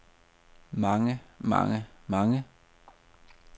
mange mange mange